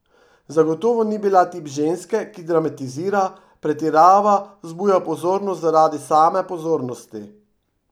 Zagotovo ni bila tip ženske, ki dramatizira, pretirava, vzbuja pozornost zaradi same pozornosti.